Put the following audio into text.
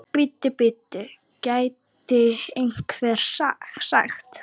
Bíddu, bíddu, gæti einhver sagt.